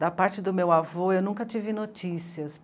Da parte do meu avô, eu nunca tive notícias.